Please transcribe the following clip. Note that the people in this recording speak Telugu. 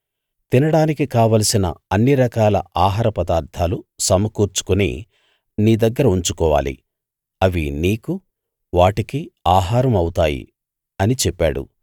తినడానికి కావలసిన అన్నిరకాల ఆహార పదార్ధాలు సమకూర్చుకుని నీ దగ్గర ఉంచుకోవాలి అవి నీకు వాటికి ఆహారం అవుతాయి అని చెప్పాడు